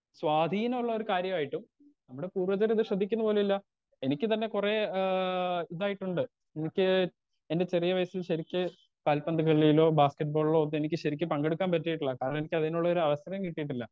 Speaker 2 സ്വാധീനുള്ളൊരു കാര്യായിട്ടും നമ്മടെ പൂർവികരിത് ശ്രദ്ധിക്കുന്നു പോലും ഇല്ല എനിക്ക് തന്നെ കൊറേ ആ ഇതായിട്ടുണ്ട് എനിക്ക് എന്റെ ചെറിയ വയസ്സിൽ ശെരിക്ക് കാൽപന്ത് കളിയിലോ ബാസ്കറ്റ്ബാളിലോ ഒന്നും എനിക്ക് ശെരിക്കും പങ്കെടുക്കാൻ പറ്റീട്ടില്ല കാരണം എനിക്കതിനുള്ളൊരു അവസരം കിട്ടീട്ടില്ല.